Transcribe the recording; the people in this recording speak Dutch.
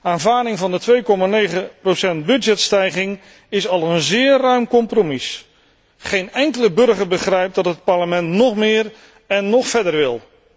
Aanvaarding van de 2,9 procent begrotingsstijging is al een zeer ruim compromis. Geen enkele burger begrijpt dat het Parlement nog meer en nog verder wil.